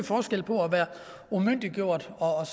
forskel på at være umyndiggjort og